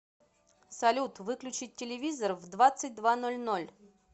салют выключить телевизор в двадцать два ноль ноль